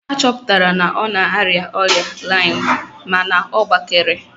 A chọpụtara na ọ na-arịa ọrịa laịm mana ọ gbakere